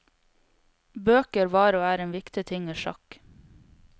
Bøker var og er en viktig ting i sjakk.